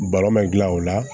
Balon gilan o la